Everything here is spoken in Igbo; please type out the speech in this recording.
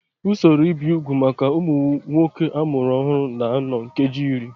Usoro ibi úgwù maka ụmụ nwoke a mụrụ ọhụrụ na-anọ nkeji iri